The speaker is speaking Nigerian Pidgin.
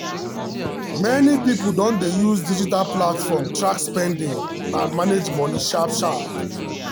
many people don dey use digital platform track spending and manage money sharp sharp.